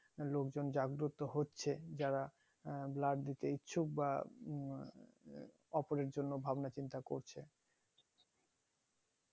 লোকজন জাগ্রতো হচ্ছে যারা আহ blood দিতে ইচ্ছুক বা ওপরের জন্য ভাবনা চিন্তা করছে